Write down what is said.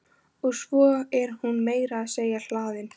Og svo er hún meira að segja hlaðin.